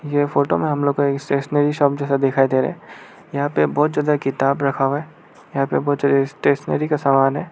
ये फोटो में हम लोग का स्टेशनरी शॉप जैसा दिखाई दे रहा यहां पे बहोत ज्यादा किताब रखा है यहां बहोत ज्यादा स्टेशनरी का समान है।